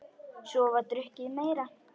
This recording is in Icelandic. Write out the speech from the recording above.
Svo var drukkið meira.